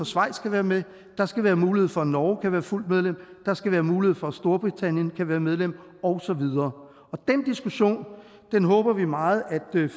schweiz kan være med der skal være mulighed for at norge kan være fuldt medlem der skal være mulighed for at storbritannien kan være medlem og så videre den diskussion håber vi meget at